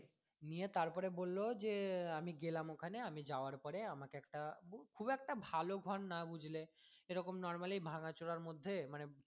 নিয়ে তারপরে বললো যে আমি গেলাম ওখানে আমি যাওয়ার পরে আমাকে একটা খুব একটা ভালো ঘর না বুঝলে এরকম normally ভাঙ্গা চোড়ার মধ্যে মানে